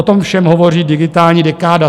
O tom všem hovoří Digitální dekáda.